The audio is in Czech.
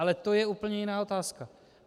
Ale to je úplně jiná otázka.